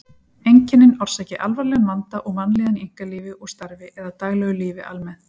Einkennin orsaki alvarlegan vanda og vanlíðan í einkalífi og starfi eða daglegu lífi almennt.